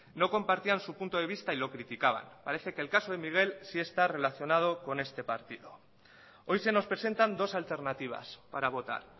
no compartían su punto de vista y lo criticaban parece que el caso de miguel sí está relacionado con este partido hoy se nos presentan dos alternativas para votar